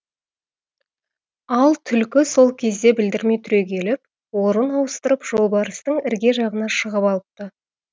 ал түлкі сол кезде білдірмей түрегеліп орын ауыстырып жолбарыстың ірге жағына шығып алыпты